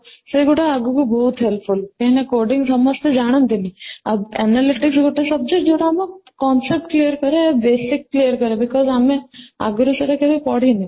ସେଗୁଡ଼ା ଆଗକୁ ବହୁତ helpful କାହିଁକି ନା codding ସମସ୍ତେ ଜାଣନ୍ତି ନି ଆଉ analytic ଗୋଟେ subject ଯୋଉଟା ଆମ concept clear କରେ basic clear କରେ because ଆମେ ଆଗରୁ କେବେ ପଢିନୁ